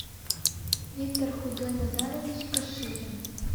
виктор худой назарович каширин